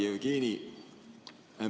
Hea Jevgeni!